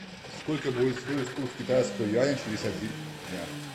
сколько будет стоить курс китайского юаня через один дня